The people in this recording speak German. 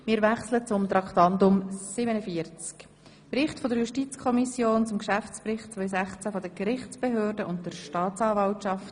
Wir kommen zum Bericht der JuKo zum Geschäftsbericht 2016 der Gerichtsbehörden und der Staatsanwaltschaft.